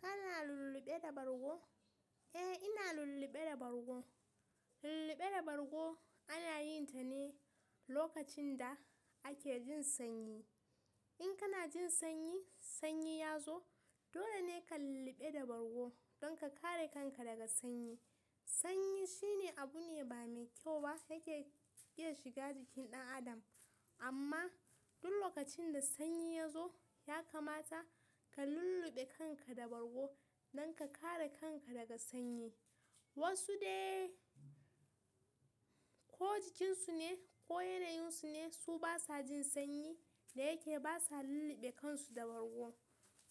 Kana lulluɓe da bargo? Eh, ina lulluɓe da bargo. Lulluɓe da bargo ana yin ta ne lokacin da ake jin sanyi. In kana jin sanyi, sanyi ya zo, dole ne ka lulluɓe da bargo don ka kare kanka daga sanyi. Sanyi shine abu ne ba mai kyau ba yake iya shiga jikin ɗan adam. Amma duk lokacin da sanyi ya zo, ya kamata ka lulluɓe kanka da bargo don ka kare kanka daga sanyi. Wasu dai ko jikinsu ne ko yanayinsu ne, su basa jin sanyi da yake basa lulluɓe kansu da bargo.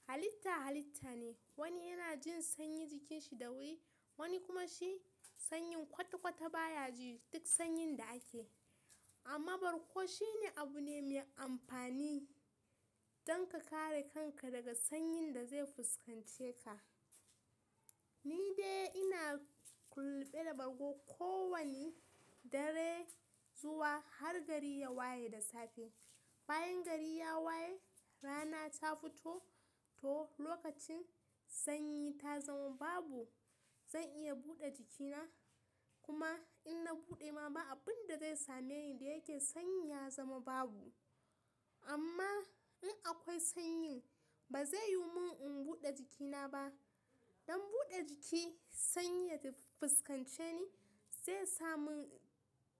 Halitta halitta ne. Wani yana jin sanyi jikinshi da wuri, wani kuma shi sanyin kwata-kwata baya ji duk sanyin da ake. Amma bargo shine abu ne mai amfani don ka kare kanka daga sanyin da zai fuskance ka. Ni dai ina lulluɓe da bargo kowani dare zuwa har gari ya waye da safe. Bayan gari ya waye, rana ta fito, to lokacin sanyi ta zama babu. Zan iya buɗe jikina kuma in na buɗe ma ba abun da zai same ni da yake sanyi ya zama babu. Amma in akwai sanyi, ba zai yiwu mun in buɗe jikina ba. Dan buɗe jiki sanyi ya fuskance ni zai samu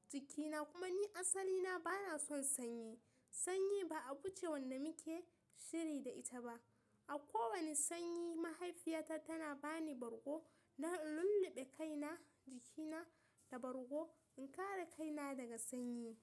jikina kuma ni asali na bana son sanyi. Sanyi ba abu ce wanda muke shiri da ita ba. A kowani sanyi mahaifiyata tana bani bargo na lulluɓe kaina jikina da bargo in kare kaina daga sanyi.